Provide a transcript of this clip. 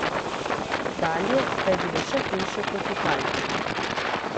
Dalje pa je bilo še hujše kot v Halki.